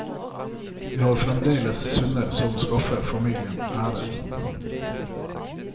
De har fremdeles sønner som skaffer familien ære.